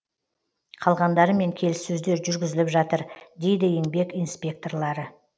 қалғандарымен келіссөздер жүргізіліп жатыр дейді еңбек инспекторлары